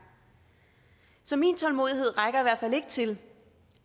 så min tålmodighed rækker i hvert fald ikke til